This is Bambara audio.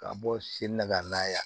Ka bɔ sin na ka na yan